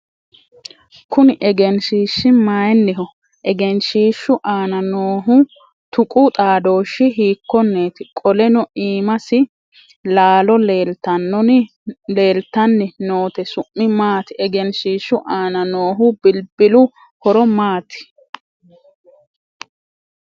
Kunni egenshiishi mayinniho? Egenshiishu aanna noohu tuqu xaadooshi hiikoneeti? Qoleno iimasi laalo leeltanonni noote su'mi maati? Egenshiishu aanna noohu bilbilu horo maati?